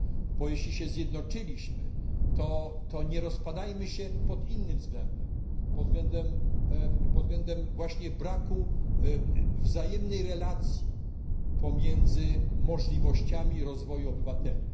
Skoro się zjednoczyliśmy, to nie rozpadajmy się pod innym względem, pod względem właśnie braku wzajemnej relacji pomiędzy możliwościami rozwoju obywateli.